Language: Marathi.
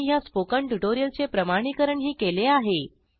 त्यांनी ह्या स्पोकन ट्युटोरियलचे प्रमाणिकरणही केले आहे